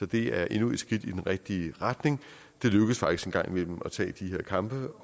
det er endnu et skridt i den rigtige retning det lykkes faktisk en gang imellem at tage de her kampe